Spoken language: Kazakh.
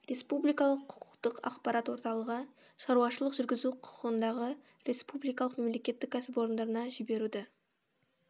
республикалық құқықтық ақпарат орталығы шаруашылық жүргізу құқығындағы республикалық мемлекеттік кәсіпорнына жіберуді